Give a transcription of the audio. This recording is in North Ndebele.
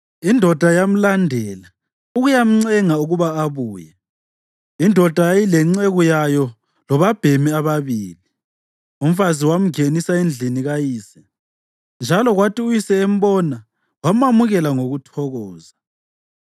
indoda yamlandela ukuyamncenga ukuba abuye. Indoda yayilenceku yayo labobabhemi ababili. Umfazi wamngenisa endlini kayise, njalo kwathi uyise embona wamamukela ngokuthokoza.